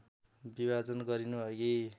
विभाजन गरिनु अघि